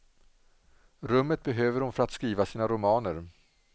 Rummet behöver hon för att skriva sina romaner.